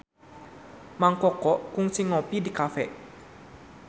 Mang Koko kungsi ngopi di cafe